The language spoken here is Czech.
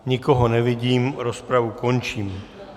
Nikoho nevidím, rozpravu končím.